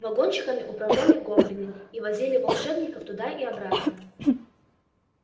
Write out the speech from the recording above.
вагончиками управляли гоблины и возили волшебников туда и обратно